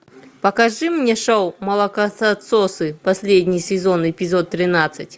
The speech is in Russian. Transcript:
покажи мне шоу молокососы последний сезон эпизод тринадцать